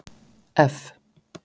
F